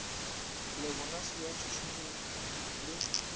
le bonase ya tšhušumetšo le